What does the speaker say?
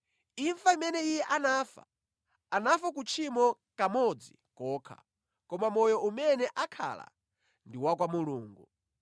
Imfa imene Iye anafa, anafa ku tchimo kamodzi kokha, koma moyo umene akhala ndi wa kwa Mulungu.